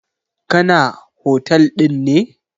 Kana. hotel ɗin ne?